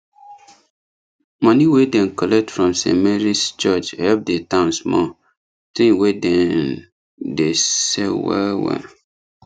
money wey dem collect from st marys church help the town small thing wey dem dey sell well well